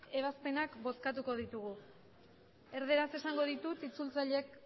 ebazpenak bozkatuko ditugu erdaraz esango ditut itzultzaileek